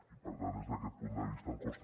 i per tant des d’aquest punt de vista em costa